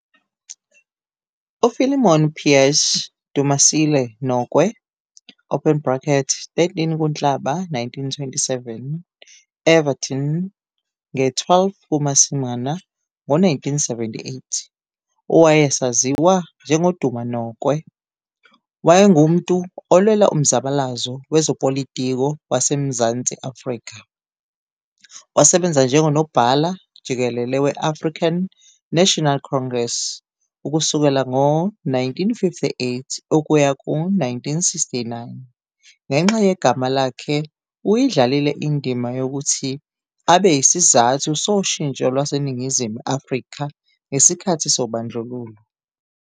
U-Philemon Pearce Dumasile Nokwe, 13 kuNhlaba 1927, Evaton - nge-12 kuMasingana ngo-1978, owayesaziwa njengoDuma Nokwe, wayengumntu olwela umzabalazo kwezopolitiko waseMzantsi Afrika, wasebenza njengo-Nobhala-Jikelele we-African National Congress ukusukela ngo-1958 ukuya ku-1969, ngenxa yegama lakhe uyidlalile indima yokuthi abe yisizathu soshintsho lwase Ningizimu Afrika ngesikhathi sobandlululo.